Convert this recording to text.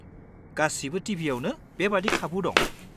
-गासिबो टिभियावनो बेबादि खाबु दं।